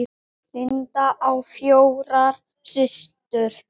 Linda á fjórar systur.